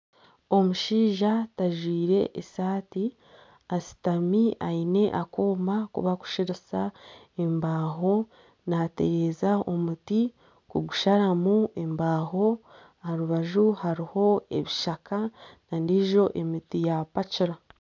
Omushaija tajwire esaati ashutami aine akooma aku barikusharisa embaho. Natereza omuti kugusharamu embaho aha rubaju hariho ebishaka na n'endiijo miti ya pacura.